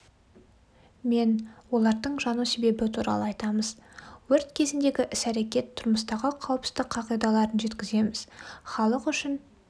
мен олардың жану себебі туралы айтамыз өрт кезіндегі іс-әрекет тұрмыстағы қауіпсіздік қағидаларын жеткіземіз халық үшін